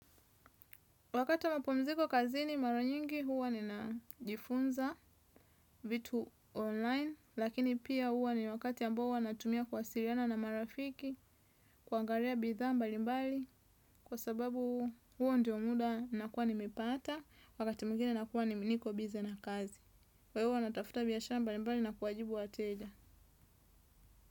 Wakati wa mapumziko kazini mara nyingi huwa ninajifunza vitu online, lakini pia huwa ni wakati ambao huwa natumia kuwasiliana na marafiki, kuangalia bidhaa mbali mbali, kwa sababu huo ndio muda nakuwa nimepata, wakati mwingine nakuwa niko busy na kazi. Kwa hiyo huwa natafuta biashara mbali mbali na kuwajibu wateja.